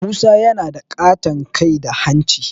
Musa yana da ƙaton kai da hanci